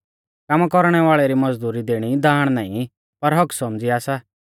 कामा कौरणै वाल़ै री मज़दुरी दैणी दाण नाईं पर हक्क्क सौमझ़िया सा